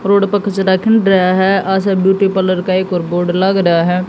road पर कचड़ा खन रहा है आशा ब्यूटी पार्लर का एक और बोर्ड लग रहा है